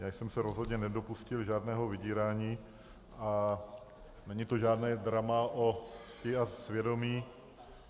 Já jsem se rozhodně nedopustil žádného vydírání a není to žádné drama o cti a svědomí.